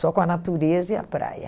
Só com a natureza e a praia.